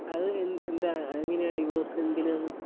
ആ അത് എന്താ അതെങ്ങനാ ഡിവോഴ്സ് എന്തിനാന്നു.